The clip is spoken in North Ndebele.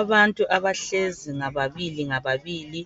Abantu abahlezi ngababili ngababili